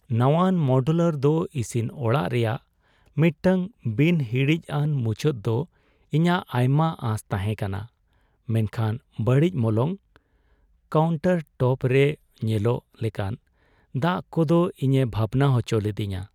ᱱᱟᱶᱟᱱ modular ᱫᱚ ᱤᱥᱤᱱ ᱚᱲᱟᱜ ᱨᱮᱭᱟᱜ ᱢᱤᱫᱴᱟᱝ ᱵᱤᱱ ᱦᱤᱲᱤᱡᱼᱟᱱ ᱢᱩᱪᱟᱹᱫ ᱫᱚ ᱤᱧᱟᱹᱜ ᱟᱭᱢᱟ ᱟᱸᱥ ᱛᱟᱦᱮᱸ ᱠᱟᱱᱟ, ᱢᱮᱱᱠᱷᱟᱱ ᱵᱟᱹᱲᱤᱡ ᱢᱚᱞᱚᱝ , ᱠᱟᱣᱩᱱᱴᱟᱨᱴᱚᱯ ᱨᱮ ᱧᱮᱞᱚᱜ ᱞᱮᱠᱟᱱ ᱫᱟᱜ ᱠᱚᱫᱚ ᱤᱧᱮ ᱵᱷᱟᱵᱱᱟ ᱦᱚᱪᱚ ᱞᱤᱫᱤᱧᱟ ᱾